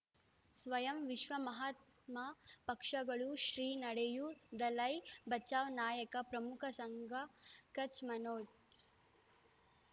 ಸ್ವಯಂ ವಿಶ್ವ ಮಹಾತ್ಮ ಪಕ್ಷಗಳು ಶ್ರೀ ನಡೆಯೂ ದಲೈ ಬಚೌ ನಾಯಕ ಪ್ರಮುಖ ಸಂಘ ಕಚ್ ಮನೋಜ್